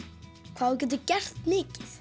hvað þú getur gert mikið